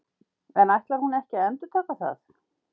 En ætlar hún ekki að endurtaka það?